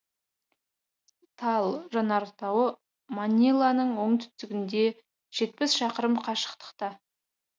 таал жанартауы маниланың оңтүстігінде жетпіс шақырым қашықтықта